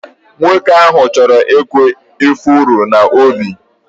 Nwoke ahụ chọrọ ịkụ ifuru n'ubi.